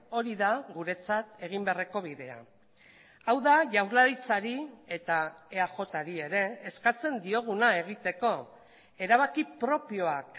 hori da guretzat egin beharreko bidea hau da jaurlaritzari eta eajri ere eskatzen dioguna egiteko erabaki propioak